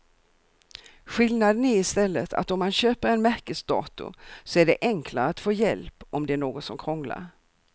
Skillnaden är i stället att om man köper en märkesdator så är det enklare att få hjälp om det är något som krånglar.